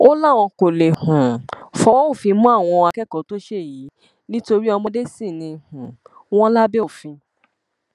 ó láwọn kó lè um fọwọ òfin mú àwọn akẹkọọ tó ṣe yìí nítorí ọmọdé sì ni um wọn lábẹ òfin